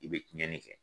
I bɛ tiɲɛni kɛ